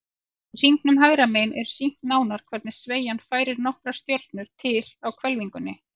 Í hringnum hægra megin er sýnt nánar hvernig sveigjan færir nokkrar stjörnur til á hvelfingunni.